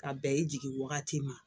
Ka bɛn i jigi wagati ma